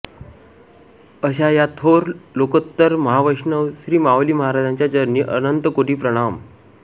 अशा या थोर लोकोत्तर महावैष्णव श्री माऊली महाराजांच्या चरणी अनंत कोटी प्रणाम